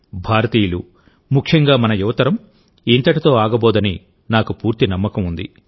భారతీయులు ముఖ్యంగా మన యువతరం ఇంతటితో ఆగబోదని నాకు పూర్తి నమ్మకం ఉంది